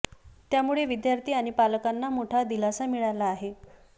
त्यामुळे विद्यार्थी आणि पालकांना मोठा दिलासा मिळाला आहे